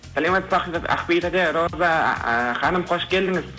саламатсыз ба ақбибі тәте роза а ханым хош келдіңіз